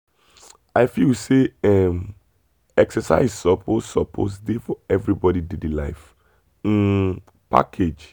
i feel say um exercise suppose suppose dey for everybody daily life um package.